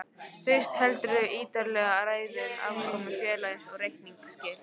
Fyrst heldurðu ítarlega ræðu um afkomu félagsins og reikningsskil.